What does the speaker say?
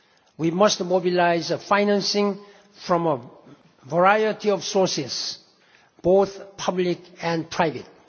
We must mobilise financing from a variety of sources, both public and private.